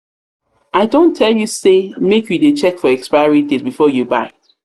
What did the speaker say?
i don tell you say make you dey check for expiry date before you before you buy.